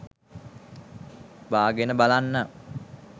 බාගෙන බලන්න.